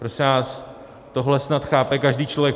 Prosím vás, tohle snad chápe každý člověk.